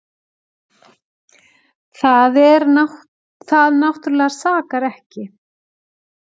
Það náttúrlega sakar ekki.